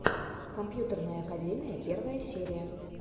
компьютерная академия первая серия